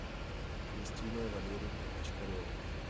кристиной валерьевной бочкаревой